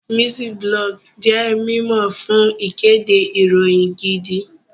Mciiblog jẹ́ mímọ̀ fún ìkéde ìròyìn gidi